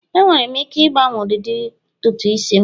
enwere m ike ịgbanwe ụdịdị ntutu isi'm?